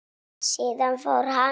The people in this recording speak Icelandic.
Síðan fór hann.